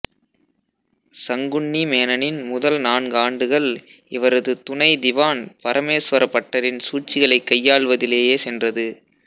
சங்குன்னி மேனனின் முதல் நான்கு ஆண்டுகள் இவரது துணை திவான் பரமேஸ்வர பட்டரின் சூழ்ச்சிகளைக் கையாளுவதிலேயே சென்றது